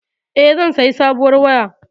E, zan sayi sabuwar waya.